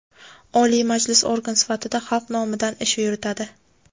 Oliy Majlis organ sifatida xalq nomidan ish yuritadi;.